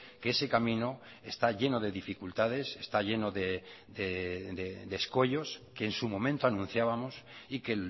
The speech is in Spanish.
que ese camino está lleno de dificultades está lleno de escollos que en su momento anunciábamos y que